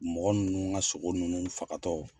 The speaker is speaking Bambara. Mɔgɔ ninnu ka sogo ninnu fagatɔ